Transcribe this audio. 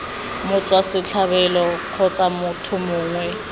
motswa setlhabelo kgotsa motho mongwe